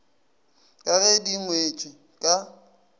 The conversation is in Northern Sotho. ka ge di ngwetšwe ka